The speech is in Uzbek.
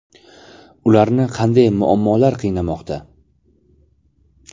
Ularni qanday muammolar qiynamoqda?